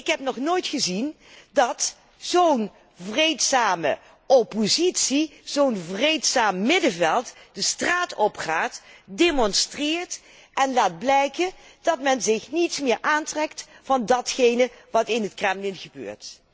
Ik heb nog nooit gezien dat zo'n vreedzame oppositie, zo'n vreedzaam middenveld, de straat opgaat, demonstreert en laat blijken zich niets meer aan te trekken van wat er in het Kremlin gebeurt.